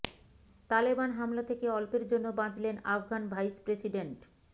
তালেবান হামলা থেকে অল্পের জন্য বাঁচলেন আফগান ভাইস প্রেসিডেন্ট